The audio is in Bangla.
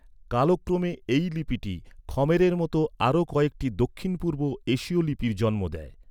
কালক্রমে এই লিপিটি খ্‌মেরের মতো আরও কয়েকটি দক্ষিণ পূর্ব এশীয় লিপির জন্ম দেয়।